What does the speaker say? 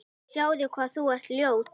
Sjáðu hvað þú ert ljót.